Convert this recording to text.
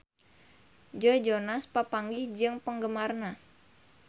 Joe Jonas papanggih jeung penggemarna